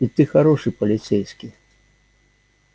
и ты хороший полицейский